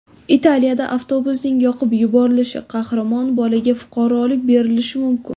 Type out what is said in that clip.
Italiyada avtobusning yoqib yuborilishi: Qahramon bolaga fuqarolik berilishi mumkin.